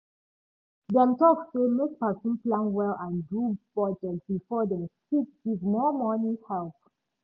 dem talk say make person plan well and do budget before dem fit give more money help